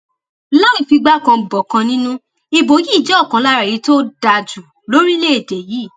láì fi igbá kan bọkan nínú ìbò yìí jẹ ọkan lára èyí tó dáa jù lórílẹèdè yìí